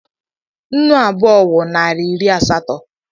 Nnu abụọ wụ narị iri asatọ.